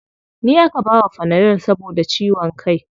Ni aka bawa fanadol saboda ciwon kai.